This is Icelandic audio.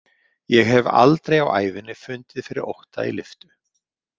Ég hef aldrei á ævinni fundið fyrir ótta í lyftu.